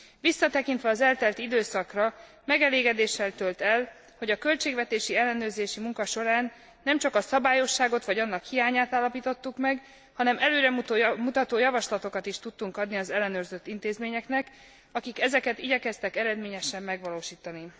Visszatekintve az eltelt időszakra, megelégedéssel tölt el, hogy a költségvetési ellenőrzési munka során nem csak a szabályosságot, vagy annak hiányát állapítottuk meg, hanem előremutató javaslatokat is tudtunk adni az ellenőrzött intézményeknek, akik ezeket igyekeztek eredményesen megvalósítani.